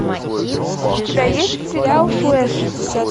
у тебя есть сериал флэш